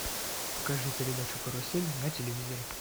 покажи передачу карусель на телевизоре